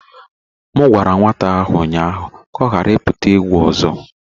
M gwara nwata ahụ ụnyahụ ka ọ ghara ịpụta egwu ọzọ